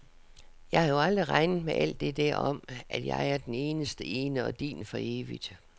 Jeg har jo aldrig regnet med alt det der om, at jeg er den eneste ene og din for evigt.